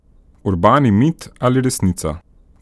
Urbani mit ali resnica?